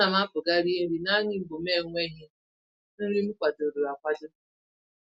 Ánám apụ gaa rie nri naanị mgbe m naenweghị nri m kwadoro akwado